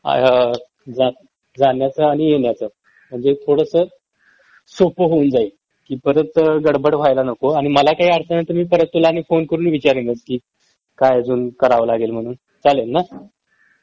अ जाण्याचा आणि येण्याचं म्हणजे थोडस सोपं होऊन जाईल कि परत गडबड व्हायला नको आणि मला काही अडचण आली तर मी परत तुला आणि फोन करून विचारेनच की काय अजून करावं लागेल म्हणून. चालेल ना?